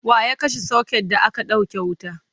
waya kashe socket da aka ɗauke wuta?